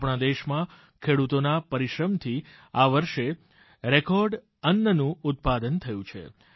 આપણા દેશમાં ખેડૂતોના પરિશ્રમથી આ વર્ષે રેકર્ડ અન્નનું ઉત્પાદન થયું છે